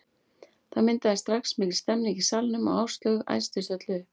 Það myndaðist strax mikil stemning í salnum og Áslaug æstist öll upp.